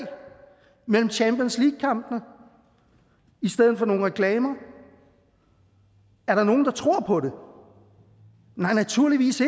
mellem champions league kampene i stedet for nogle reklamer er der nogen der tror på det nej naturligvis